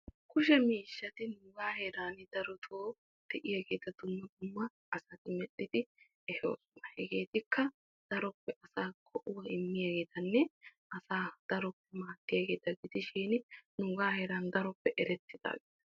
Kushe miishshatti nuuga heeran darotto merettosona. Hegeetikka daro go'a immiyagetta gidishin qassikka asaa gala gala peeshaan daro maaduwanne go'aa immosonna.